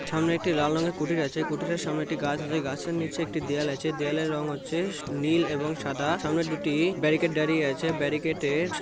সামনে একটি লাল রঙের কুটির আছে কুটির সামনে একটি গাছ আছে গাছের নিচে একটি দেয়াল আছে দেয়ালের রং হচ্ছে উম নীল এবং সাদা সামনে দুটি-ই ব্যারিকেড দাঁড়িয়ে আছে ব্যারিকেট -এর স--